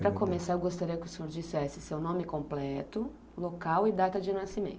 Para começar, eu gostaria que o senhor dissesse seu nome completo, local e data de nascimento.